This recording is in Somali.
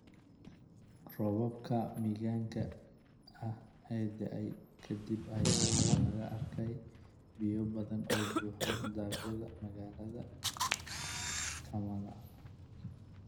Roobabkii mahiigaanka ahaa ee daay kadib ayaa waxaa la arkayay biyo badan oo buux dhaafiyay magalada kamala